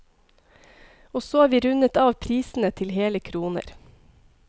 Og så har vi rundet av prisene til hele kroner.